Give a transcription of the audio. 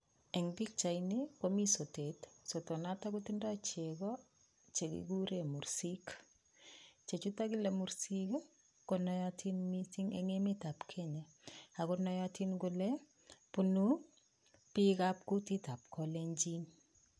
En pichaini komi sotet, sotonoto kotindo chego che kiguure mursik. Chechuto kiguure mursik ko nootin mising en emet ab Kenya. Ago nootin kole bunu bikab kutit ab Kalenjin.